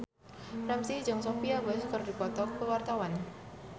Ramzy jeung Sophia Bush keur dipoto ku wartawan